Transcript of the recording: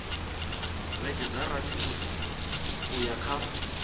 vhege dza rathi uya kha